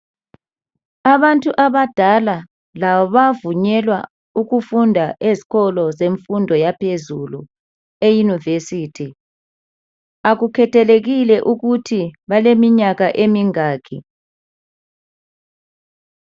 Abantu abadala labo bayavunyelwa ukufunda ezikolo zemfundo yaphezulu,, eyunivesithi akukhethelekile ukuthi baleminyaka emingaki